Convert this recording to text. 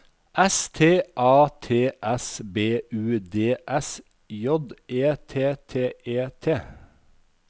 S T A T S B U D S J E T T E T